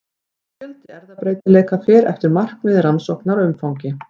Fjöldi erfðabreytileika fer eftir markmiði rannsóknar og umfangi.